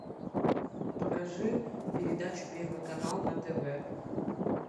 покажи передачу первый канал на тв